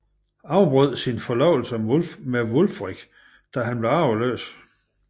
Afbrød sin forlovelse med Wulfric da han blev arveløs